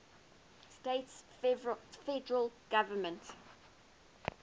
states federal government